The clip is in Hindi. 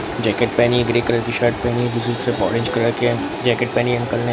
जैकेट पहनी है ग्रे कलर की शर्ट पहनी है टी-शर्ट सिर्फ ऑरेंज कलर जैकेट पहनी है अंकल ने --